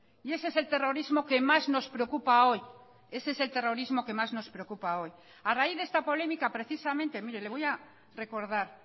y ese es el terrorismo que más nos preocupa hoy ese es el terrorismo que más nos preocupa hoy a raíz de esta polémica precisamente mire le voy a recordar